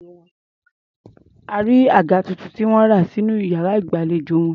A rí àga tuntun tí wọ́n rà sí iyàrá ìgbàlejò wọn.